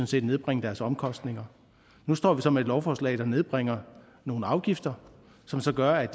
set nedbringe deres omkostninger nu står vi så med et lovforslag der nedbringer nogle afgifter som så gør at